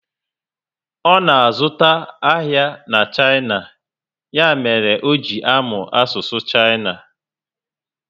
Ọ na azụta ahịa na China, ya mere o ji amụ asụsụ China